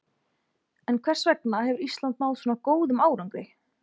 En hvers vegna hefur Ísland náð svona góðum árangri?